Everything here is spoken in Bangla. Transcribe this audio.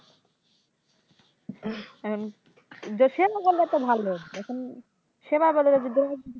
এখন দেশের জন্য তো ভালো এখন সেবা করলে যদি